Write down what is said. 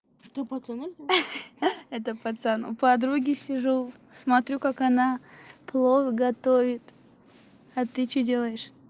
что пацаны ха-ха это пацан у подруги сижу смотрю как она плов готовит а ты что делаешь